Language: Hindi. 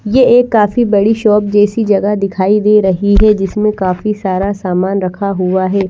ये एक काफी बड़ी शॉप जैसी जगह दिखाई दे रही है जिसमें काफी सारा सामान रखा हुआ है।